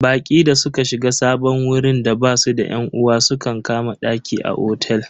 Baƙi da suka shiga sabon wurin da basu da yan uwa sukan kama daki a otel.